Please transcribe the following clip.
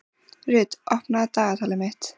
Rut, opnaðu dagatalið mitt.